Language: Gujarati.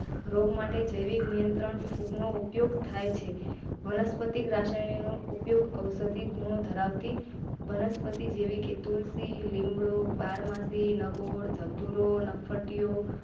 રોગ માટે જૈવિક નિયંત્રણ ફૂગનો ઉપયોગ થાય છે. વનસ્પતિ રસાયણી નો ઉપયોગ ઔષધી ગુણો ધરાવતી વનસ્પતિ જેવી કે તુલસી, લીમડો, બારમાસી ધતુરો નફ્ફટટીઓ.